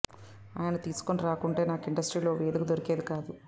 ఆయన తీసుకుని రాకుంటే నాకు ఇండస్ట్రీలో ఓ వేదిక దొరికేది కాదు